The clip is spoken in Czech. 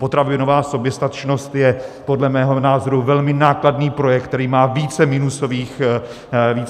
Potravinová soběstačnost je podle mého názoru velmi nákladný projekt, který má více minusových bodů.